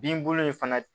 Binbolo in fana